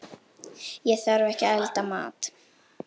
Ég þarf ekki að elda mat.